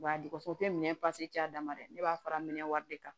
U b'a di ko o tɛ minɛn a damana dɛ ne b'a fara minɛ wari de kan